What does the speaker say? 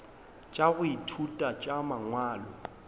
tša go ithuta tša mangwalo